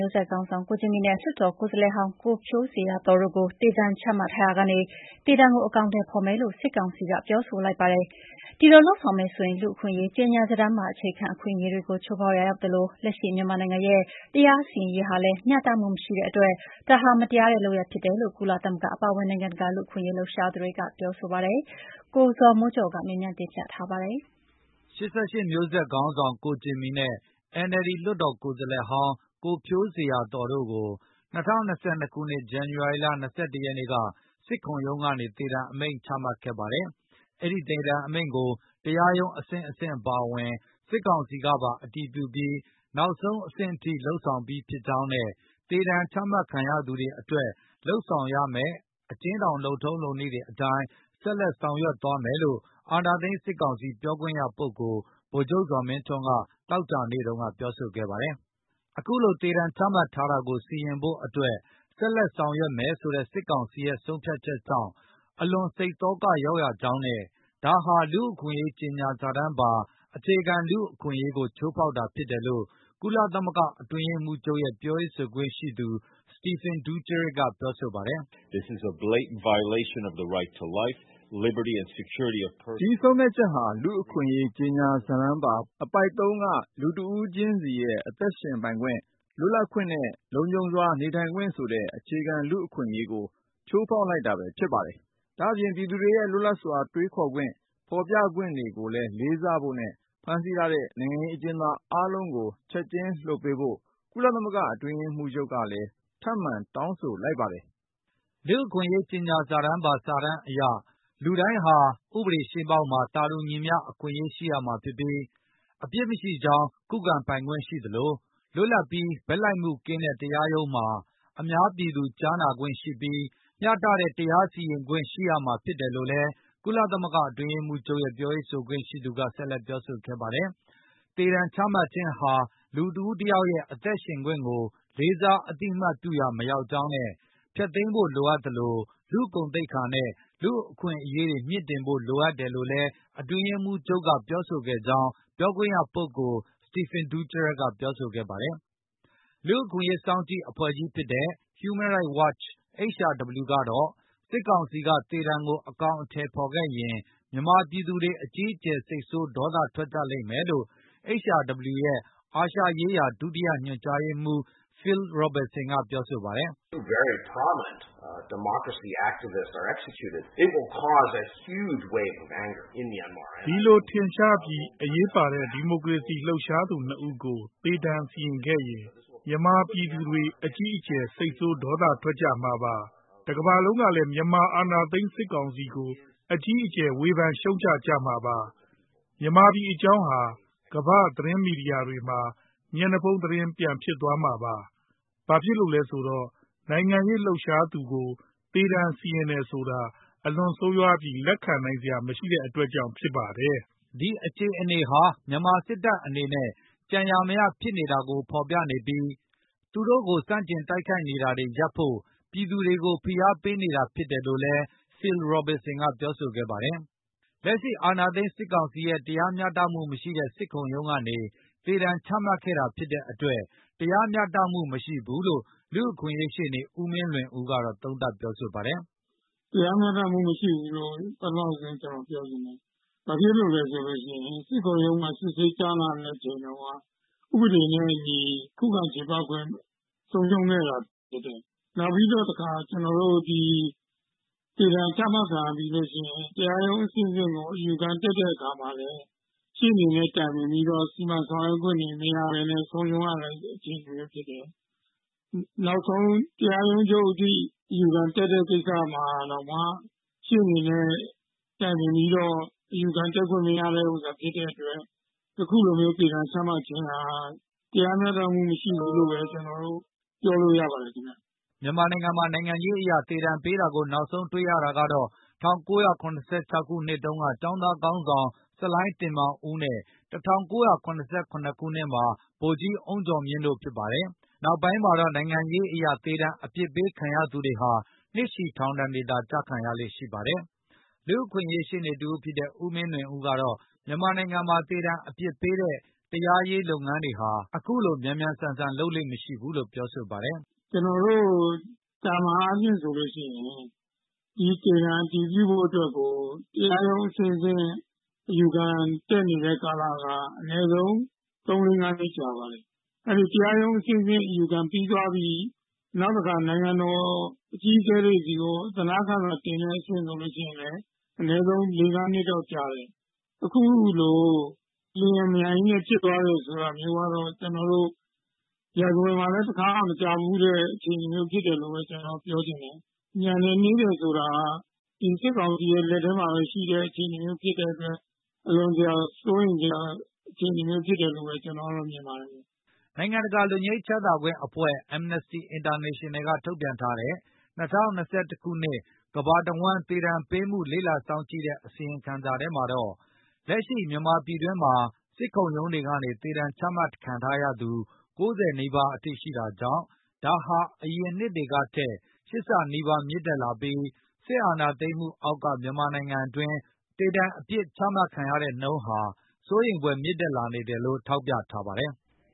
ျိုးဆက်ခေါင်းဆောင် ကိုဂျင်မီနဲ့ လွှတ်တော်ကိုယ်စားလှယ်ဟောင်း ကိုဖြိုးဇေယျာသော် တို့ကို သေဒဏ်ချမှတ်ထားရာကနေ သေဒဏ်ကို အကောင်အထည်ဖေါ်မယ်လို့ စစ်ကောင်စီက ပြောဆိုလိုက်ပါတယ်။ ဒီလိုလုပ်ဆောင်မယ်ဆိုရင် လူ့အခွင့်အရေး ကြေညာစာတမ်းပါ အခြေခံ အခွင့်အရေးတွေကို ချိုးဖေါက်ရာရောက်သလို၊ လက်ရှိမြန်မာ နိုင်ငံရဲ့တရားစီရင်ရေးဟာလည် းမျှတမှုမရှိတဲ့အတွက် ဒါဟာမတရားတဲ့လုပ်ရပ်ဖြစ်တယ်လို့ ကုလသမဂ္ဂအပါအဝင်၊ နိုင်ငံတကာလူ့အခွင့်အရေး လှုပ်ရှားသူတွေက ပြောဆိုလိုက်ပါတယ်။ ၈၈ မျိုးဆက်ခေါင်းဆောင် ကိုဂျင်မီ နဲ့ NLD လွှတ်တော်ကိုယ်စားလှယ်ဟောင်း ကိုဖြိုးဇေယျာသော် တို့ကို ၂၀၂၂ ခုနှစ် ဇန္နဝါရီ ၂၁ ရက်နေ့က စစ်ခုံရုံးကနေ သေဒဏ်အမိန့်ချမှတ်ခဲ့ပါတယ်။ အဲဒိသေဒဏ်အမိန့်ကို တရားရုံးအဆင့်ဆင့်အပါအဝင်၊ စစ်ကောင်စီ ကပါ အတည်ပြုပြီး၊ နောက်ဆုံးအဆင့်အထိ လုပ်ဆောင်ပြီး ဖြစ်ကြောင်းနဲ့ သေဒဏ်ချမှတ် ခံရသူတွေအတွက်လုပ်ဆောင်ရမယ့် အကျဉ်းထောင် လုပ်ထုံးလုပ်နည်းတွေအတိုင်း ဆက်လက်ဆောင်ရွက်သွားမယ်လို့ အာဏာသိမ်း စစ်ကောင်စီ ပြောခွင့်ရပုဂ္ဂိုလ် ဗိုလ်ချုပ်ဇော်မင်းထွန်း က သောကြာနေ့ ကပြောဆိုခဲ့ပါတယ်။ အခုလို သေဒဏ်ချမှတ်ထားတာကို စီရင်ဖို့အတွက် ဆက်လက်ဆောင်ရွက်မယ်ဆိုတဲ့ စစ်ကောင်စီရဲ့ ဆုံးဖြတ်ချက်ကြောင့် အလွန်စိတ်သောကရောက်ရကြောင်းနဲ့ ဒါဟာ လူ့အခွင့်အရေးကြေညာစာတမ်းပါ အခြေခံ လူ့အခွင့်အရေးကို ချိုးဖေါက်တာဖြစ်တယ်လို့ ကုလသမဂ္ဂအတွင်းရေးမှုးချုပ်ရဲ့ ပြောခွင့်ရပုဂ္ဂိုလ် Stephane Dujarric ကပြောဆိုပါ တယ်။ “ ဒီဆုံးဖြတ်ချက်ဟာ လူ့အခွင့်အရေး ကြေညာစာတမ်းပါအပုဒ် ၃ က လူတဦးခြင်းစီရဲ့ အသက်ရှင်ပိုင်ခွင့်၊ လွတ်လပ်ခွင့်နဲ့ လုံခြုံစွာနေထိုင်ခွင့်ဆိုတဲ့ အခြေခံလူ့အခွင့်အရေးကို ချိုးဖေါက်တာဘဲဖြစ်ပါတယ်။ ဒါ့အပြင် ပြည်သူတွေရဲ့ လွတ်လပ်စွာတွေးခေါ်ခွင့်၊ ဖေါ်ပြခွင့်ကိုလေးစားဖို့နဲ့ ဖမ်းဆီးထားတဲ့ နိုင်ငံရေး အကျဉ်းသားအားလုံး ကိုချက်ခြင်းလွှတ်ပေးဖို့ ကုလသမဂ္ဂအတွင်းရေးမှုးချုပ် ကလည်း ထပ်မံတောင်းဆိုလိုက်ပါတယ်။” လူ့ခွင့်အရေးကြေညာစာတမ်းအရ လူတိုင်းဟာ ဥပဒေရှေ့မှောက်မှာ သာတူညီမျှ အခွင့်ရေး ရှိရမှာဖြစ်ပြီး၊ အပြစ်မရှိကြောင်း ခုခံပိုင်ခွင့်ရှိသလို၊ လွတ်လပ်ပြီး ဘက်လိုက်မှုကင်းတဲ့တ ရားရုံးမှာ အများပြည်သူကြားနာခွင့်ရှိပြီး၊ မျှတတဲ့ တရားစီရင်ခွင့်ရရှိရမှာဖြစ်တယ်လို့လည်း ကုလသမဂ္ဂ အတွင်းရေးမှုးချုပ်ရဲ့ ပြောခွင့်ရ ပုဂ္ဂိုလ်က ဆက်လက်ပြောဆိုပါတယ်။ သေဒဏ်ချမှတ်ခြင်းဟာ လူတဦးတယောက်ရဲ့ အသက်ရှင်ခွင့်ကို လေးစားအသိအမှတ် ပြုရာမရောက်ကြောင်းနဲ့ ဖျက်သိမ်းဖိုလိုအပ်သလို၊ လူ့ဂုဏ်သိက္ခာနဲ့ လူ့အခွင့်အရေးတွေကို မြှင့်တင်ဖို့လိုတယ်လို့လည်း အတွင်းရေးမှူးချုပ်က ပြောဆိုကြောင် းပြောခွင့်ရသူ Stephane Dujarric ပြောဆိုခဲ့ပါတယ်။ လူ့အခွင့်အရေးစောင့်ကြည့်အဖွဲ့ကြီးဖြစ်တဲ့ Human Rights Watch HRW ကတော့ စစ်ကောင်စီကသေဒဏ်ကို အကောင်အထည်ဖေါ်ခဲ့ရင် မြန်မာပြည်သူတွေ အကြီးအကျယ် စိတ်ဆိုးဒေါသထွက်ကြလိမ့်မယ်လို့ HRW ရဲ့အာရှဒေသဆိုင်ရာ ဒုတိယညွန် ကြားရေးမှုး Phil Robertson ပြောဆိုပါတယ်။ “ဒီလိုထင်ရှားပြီး အရေးပါတဲ့ ဒီမိုကရေစီ လှုပ်ရှားသူနှစ်ဦးကို သေဒဏ်စီရင်ခဲ့ရင်၊ မြန်မာပြည်သူတွေ အကြီးအကျယ် စိတ်ဆိုးဒေါသထွက်ကြမှာပါ။ တကမ္ဘာလုံးကလည်း မြန်မာ အာဏာသိမ်း စစ်ကောင်စီကို အကြီးအကျယ် ဝေဖန်ရှုံချကြမှာပါ။ မြန်မာပြည်အကြောင်း ကမ္ဘာ့သတင်းမီဒီယာတွေမှာ မျက်နှာဖုံးသတင်း ပြန်ဖြစ်သွားမှာပါ။ ဘာဖြစ်လို့လဲဆိုတော့ နိုင်ငံရေး လှုပ်ရှားသူကို သေဒါဏ်စီရင်တယ်ဆိုတာ အလွန်ဆိုးရွားပြီး လက်ခံနိုင်စရာမရှိတဲ့ အတွက်ဖြစ်ပါတယ်။” ဒီအခြေအနေဟာ မြန်မာစစ်တပ်အနေနဲ့ ကြံရာမရဖြစ်နေတာကို ဖေါ်ပြနေပြီး သူတို့ကို ဆန့်ကျင်တိုက်ခိုက်နေတာတွေရပ်ဖို့၊ ပြည်သူတွေကို ဖိအားပေးနေတာဖြစ်တယ်လို့လည်း ပြောဆိုခဲ့ပါတယ်။ လက်ရှိအာဏာသိမ် းစစ်ကောင်စီရဲ့ တရားမျှတမှုမရှိတဲ့ စစ်ခုံရုံးကနေ သေဒဏ်ချမှတ်တာဖြစ်တဲ့အတွက် တရားမျှတမှု မရှိဘူးလို့ လူ့အခွင့်အရေး ရှေ့နေ ဦးမင်းလွင်ဦး က သုံးသပ်ပြောဆိုပါတယ်။ "တရားမျှတမှုမရှိဘူးလို့ ပထမဦးဆုံးကျနော်ပြောချင်ပါတယ်။ ဘာဖြစ်လို့လဲဆိုလို့ရှိရင် စစ်ခုံရုံးမှာ စစ်ဆေးကြားနာတဲ့အချိန်တုန်းက ဥပဒေနဲ့အညီခုခံချေပခွင့်ဆုံးရှုံးခဲ့တာဖြစ် တယ်။ နောက်ပြီးတော့တခါ၊ ကျနော်တို့ ၊ သေဒါဏ်ချမှတ်ခံရပြီးနောက် တရားရုံးအဆင့် ဆင့်ကိုအယူခံတက်တဲ့အခါမှာလည်း ရှေ့နေနဲ့တိုင်ပင်ပြီးတော့ စီမံဆောင်ရွက်ခွင့်တွေ မရဘဲနဲ့ ဆုံးရှုံးရတဲ့အခြေအနေမျိုးဖြစ်တယ်။ နောက်ဆုံးတရားရုံးချုပ်အထိ အယူခံတက် တဲ့ကိစ္စမှာတောင်မှ ရှေ့နေနဲ့တိုင်ပင်ပြီးတော့ အယူခံတက်ခွင့်မရခဲ့တာဖြစ်တဲ့အတွက် အခုလိုမျိုးသေဒါဏ်ချမှတ်ခြင်းဟာ တရားမျှတမှုမရှိဘူးလို့ပြောလို့ရပါတယ်ခင်ဗျ" မြန်မာနိုင်ငံမှာ နိုင်ငံရေးအရ သေဒဏ်ပေးတာကို နောက်ဆုံးတွေ့ရတာကတော့ ၁၉၇၆ ခုနှစ်တုန်းက ကျောင်းသား ခေါင်း ဆောင် ဆလိုင်းတင်မောင်ဦးနဲ့ ၁၉၇၇ ခုနှစ်မှာ ဗိုလ်ကြီးအုန်းကျော်မြင့်တို့က ဖြစ်ပါတယ်။ နောက်ပိုင်းမှာတော့ နိုင်ငံရေးအရ သေဒဏ်အပြစ်ပေးခံရသူတွေဟာ နှစ်ရှည်ထောင်ဒဏ်တွေသော ကျခံရလေ့ ရှိပါတယ်။ လူ့အခွင့်အရေးရှေ့နေတဦးဖြစ်တဲ့ ဦးမင်လွင်ဦးကတော့ မြန်မာနိုင်ငံမှာ သေဒဏ်အပြစ်ပေးတဲ့ တရားရေးလုပ်ငန်းတွေဟာ အခုလို မြန်မြန်ဆန်ဆန် လုပ်လေ့မရှိဘူးလို့ ပြောပါတယ်။ " ကျနော်တို့သာမန်အားဖြင့်ဆိုလို့ရှိရင် သေဒဏ်အတည်ပြုဖို့အတွက်ကို တရားရုံးအဆင့် ဆင့်အယူခံတက်နေတဲ့ကာလက အနည်းဆုံးသုံးလေးငါးနှစ်ကြာပါတယ်။ တရားရုံးအ ဆင့်ဆင့်အယူခံပြီးသွားပြီး၊ နောက်တခါနိုင်ငံတော်အကြီးအကဲတွေဆီကို အသနားခံစာ တင်တဲ့အဆင့်ဆိုလို့ရှိရင်လည်း အနည်းဆုံးလေးငါးနှစ်လောက်ကြာတယ်။ အခုလို အလျင်အမြန်ဖြစ်သွားတယ် ဆိုတာမျိုးကတော့ ကျနော်တို့ ရာဇဝင်မှာလည်း တခါမှမ ကြားဖူးတဲ့အခြေအနေမျိုးဖြစ်တယ်လို့ဘဲကနော်တော့ပြောချင်တယ်။ မြန်တယ်နှေး တယ်ဆိုတာက ဒီစစ်ကောင်စီရဲ့လက်ထဲမှာဘဲရှိတဲ့ အခြေအနေမျိုးဖြစ်တဲ့အတွက် အလွန်တရာစိုးရိမ်စရာအခြေအနေမျိုးဖြစ်တယ်လို့ဘဲ ကျနော်တော့မြင်ပါတယ်"။ နိုင်ငံတကာလွတ်ငြိမ်းချမ်းသာအဖွဲ့(Amnesty International)ကထုတ်ပြန်ထားတဲ့ ၂၀၂၁ ခုနှစ် ကမ္ဘာတဝန်းသေဒဏ်ပေးမှုကို လေ့လာစောင့်ကြည့်တဲ့အစီရင်ခံစာမှာတော့ လက်ရှိမှာ မြန်မာပြည်တွင်းမှာ စစ်ခုံရုံးတွေကနေ သေဒဏ်ချမှတ်ခံထားရသူ ၉၀ နီးပါးအထိရှိနေတာကြောင့် ဒါဟာ အရင်နှစ်တွေကထက် ၈ ဆနီးပါးမြင့်တက်လာပြီး စစ်အာဏာသိမ်းမှုအောက်က မြန်မာနိုင်ငံတွင်း သေဒဏ်အပြစ်ဒဏ်ချမှတ်နှုန်းဟာ စိုးရိမ်ဖွယ်မြင့်တက်လာနေတယ်လို့ ထောက်ပြထားပါတယ်။